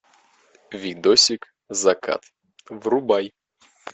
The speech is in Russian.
видосик закат врубай